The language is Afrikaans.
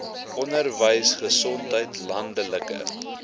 onderwys gesondheid landelike